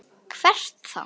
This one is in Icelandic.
Hvert þá?